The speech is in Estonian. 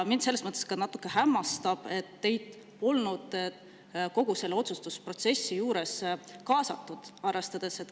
Mind selles mõttes natuke hämmastab, et teid polnud kogu sellesse otsustusprotsessi kaasatud.